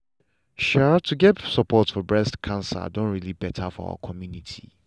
um to get support for breast cancer don really better for our community.